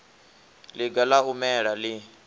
ḽiga ḽa u mela ḽi